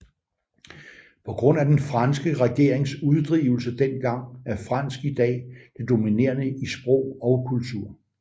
På grund af den franske regerings uddrivelse dengang er fransk i dag det dominerende i sprog og kultur